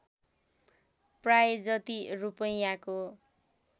प्राय जति रूपैयाँको